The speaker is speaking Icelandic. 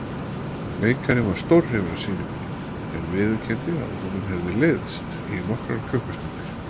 Leikarinn var stórhrifinn af sýningunni en viðurkenndi að honum hefði leiðst í nokkrar klukkustundir.